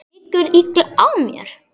Liggur illa á mér?